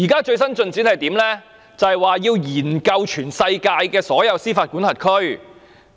最新的進展是政府擬研究全世界所有司法管轄區。